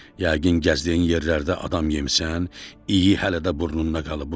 Yəqin gəzdiyin yerlərdə adam yemisən, iyi hələ də burnunda qalıb.